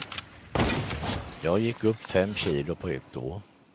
Jag gick upp fem kilo på ett år.